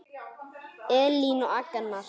Elín og Agnar.